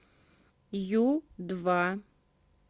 ю два